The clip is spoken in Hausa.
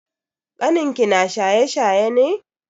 Kanin ki na shaye-shaye ne?